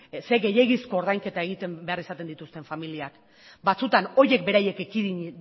zer gehiegizko ordainketa egiten behar izaten dituzten familiak batzutan horiek beraiek ekidin